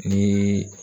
Ni